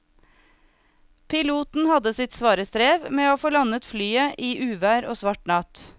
Piloten hadde sitt svare strev med å få landet flyet i uvær og svart natt.